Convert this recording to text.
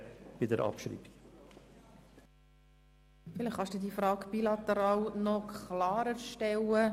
Beat Giauque, vielleicht können Sie ihre Frage noch etwas klarer stellen.